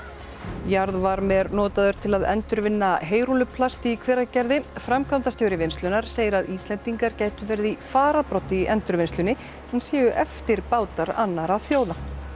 jarðvarmi er notaður til að endurvinna heyrúlluplast í Hveragerði framkvæmdastjóri vinnslunnar segir að Íslendingar gætu verið í fararbroddi í endurvinnslunni en séu eftirbátar annarra þjóða